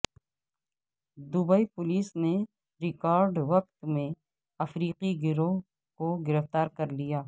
Dubai police نے ریکارڈ وقت میں افریقی گروہ کو گرفتار کر لیا